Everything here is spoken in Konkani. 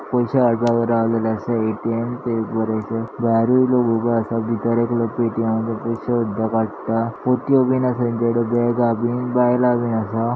पैशे काडपाक रोवलेले आसा ए_टी_एम भायरुय लोक उभे आसा. भितर एकलो पेटीएम करता काडटा. पोतियो बीन आसा तेंचेकडेन बेगा बीन बायला बीन आसा.